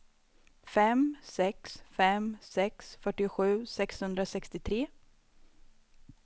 fem sex fem sex fyrtiosju sexhundrasextiotre